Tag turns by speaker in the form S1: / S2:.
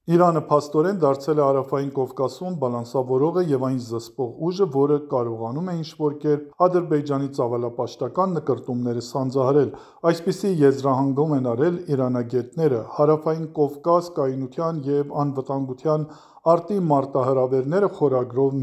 S1: Իրանը փաստորեն դարձել է Հարավային Կովկասում բալանսավորողը և այն զսպող ուժը, որը կարողանում է ինչ-որ կերպ Ադրբեջանի ծավալապաշտական նկրտումները սանձահարել։ Այսպիսի եզրահանգում են արել իրանագետները՝ «Հարավային Կովկաս. կայունության և անվտանգության արդի մարտահրավերները» խորագրով